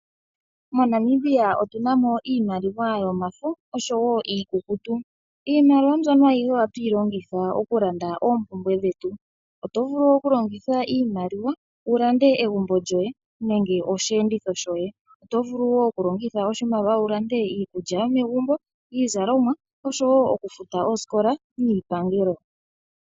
MoNamibia otunamo iimaliwa yomafo oshowo iikukutu, iimaliwa mbyoka olundji oha tuyilongitha okulanda opumbwe dhetu oto vulu wo okulongitha iimaliwa wukalande egumbo lyoye nenge oshenditho shoye oto vulu wo wulongithe oshimaliwa wulande iikulya yomegumbo, iizalomwa osho wo oku futa osikola niipangelo.